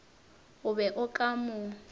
o be o ka mo